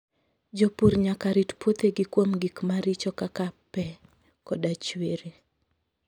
Jopur nyaka rit puothegi kuom gik maricho kaka pe koda chwiri.